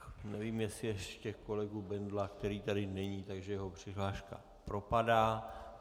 Nevím, jestli ještě kolegu Bendla... který tady není, takže jeho přihláška propadá.